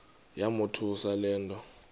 yamothusa le nto